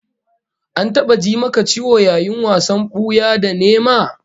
An taba ji maka ciwo yayin wasan buya da nema?